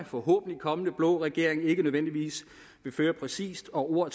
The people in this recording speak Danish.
forhåbentlig kommende blå regering ikke nødvendigvis præcist og ord